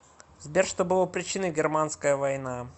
сбер что было причиной германская война